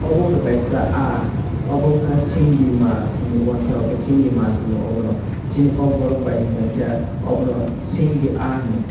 abo wngkha kaisa ahh abo wngkha singii mash hinui wangsa rok ke singii mash hino obo no sini Kokborok bai hingka kei abono singii ahh hino.